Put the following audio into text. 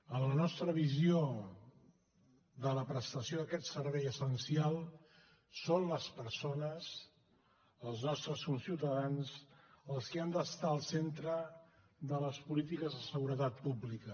en la nostra visió de la prestació d’aquest servei essencial són les persones els nostres conciutadans els qui han d’estar al centre de les polítiques de seguretat pública